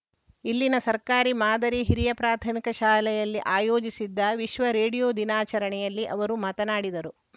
ಇಲ್ಲಿನ ಸರ್ಕಾರಿ ಮಾದರಿ ಹಿರಿಯ ಪ್ರಾಥಮಿಕ ಶಾಲೆಯಲ್ಲಿ ಆಯೋಜಿಸಿದ್ದ ವಿಶ್ವ ರೇಡಿಯೋ ದಿನಾಚರಣೆಯಲ್ಲಿ ಅವರು ಮಾತನಾಡಿದರು